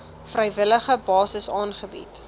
vrywillige basis aangebied